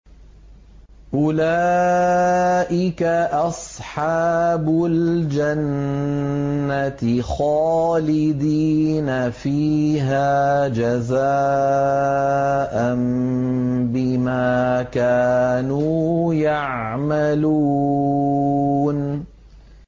أُولَٰئِكَ أَصْحَابُ الْجَنَّةِ خَالِدِينَ فِيهَا جَزَاءً بِمَا كَانُوا يَعْمَلُونَ